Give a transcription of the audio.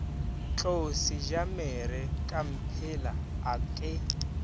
tlou sejamere kamphela a ke